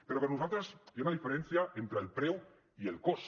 però per nosaltres hi ha una diferència entre el preu i el cost